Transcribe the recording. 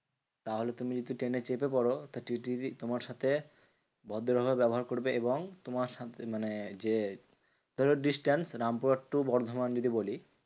তাহলে তুমি যদি ট্রেনে চেপে পরো TTE যদি তোমার সাথে ভদ্র ভাবে ব্যবহার করবে এবং তোমার সাথে মানে যে ধরো distance রামপুরহাট to বর্ধমান যদি বলি